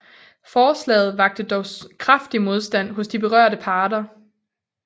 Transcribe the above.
Forslaget vakte dog kraftig modstand hos de berørte parter